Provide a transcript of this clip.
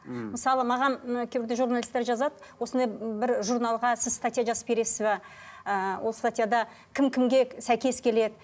мхм мысалы маған ы кейбірде журналисттер жазады осындай бір журналға сіз статья жазып бересіз бе ыыы ол статьяда кім кімге сәйкес келеді